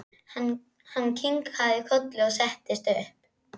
Hann kinkaði kolli og settist upp.